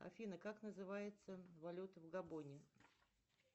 афина как называется валюта в габоне